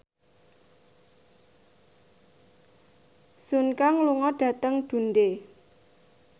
Sun Kang lunga dhateng Dundee